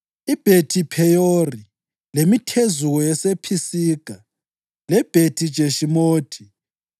iBhethi-Pheyori, lemithezuko yasePhisiga, leBhethi-Jeshimothi,